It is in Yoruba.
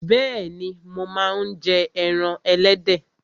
Bẹ́ẹ̀ni, mo máa ń jẹ ẹran ẹlẹ́dẹ̀